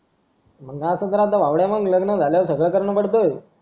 मग असच राहतं भावड्या मग लग्न झाल्यावर सगळं करणं पडतं अं